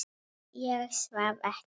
Ég svaf ekki.